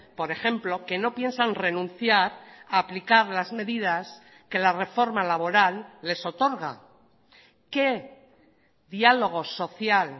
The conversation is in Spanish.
por ejemplo que no piensan renunciar a aplicar las medidas que la reforma laboral les otorga qué diálogo social